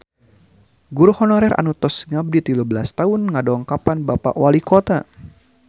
Guru honorer anu tos ngabdi tilu belas tahun ngadongkapan Bapak Walikota